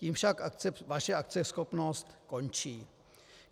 Tím však vaše akceschopnost končí.